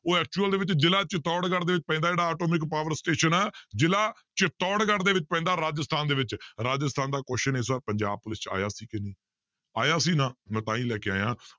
ਉਹ actual ਦੇ ਵਿੱਚ ਜ਼ਿਲ੍ਹਾ ਚਿਤੋੜਗੜ ਦੇ ਵਿੱਚ ਪੈਂਦਾ ਜਿਹੜਾ atomic power station ਹੈ ਜ਼ਿਲ੍ਹਾ ਚਿਤੋੜਗੜ ਦੇ ਵਿੱਚ ਪੈਂਦਾ ਰਾਜਸਥਾਨ ਦੇ ਵਿੱਚ, ਰਾਜਸਥਾਨ ਦਾ question ਇਸ ਵਾਰ ਪੰਜਾਬ ਪੁਲਿਸ ਵਿੱਚ ਆਇਆ ਸੀ ਕਿ ਨਹੀਂ, ਆਇਆ ਸੀ ਨਾ ਮੈਂ ਤਾਂ ਹੀ ਲੈ ਕੇ ਆਇਆਂ